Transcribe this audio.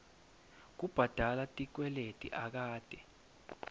kubhadala tikweleti akate